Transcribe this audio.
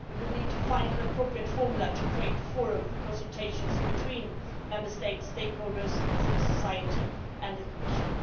We would need to find an appropriate formula to create a forum for consultations between Member States, stakeholders, civil society and the Commission.